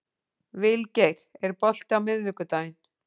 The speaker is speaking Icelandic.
Vilgeir, er bolti á miðvikudaginn?